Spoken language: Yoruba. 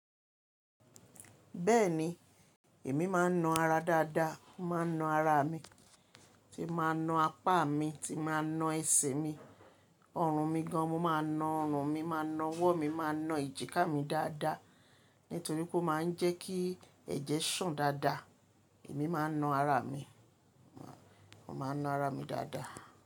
Bẹ́ẹ̀ni, èmi máa ń na ara dáadáa, mo máa ń na ara mi, tí màá na apá mi, tí màá na ẹsẹ̀ mi, ọrùn mi gan, mo máa na ọrùn mi, máa na ọwọ́ mi, máa na ejìkà mi dáadáa, nítorí kó máa ń jẹ́ kí ẹ̀jẹ̀ sàn dáadáa, èmi máa ń na ara mi, mo máa na ara mi dáadáa.